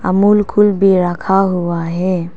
Amul Kool भी रखा हुआ है।